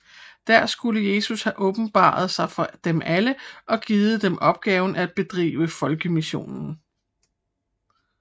Der skulle Jesus have åbenbaret sig for dem alle og givet dem opgaven at bedrive folkemission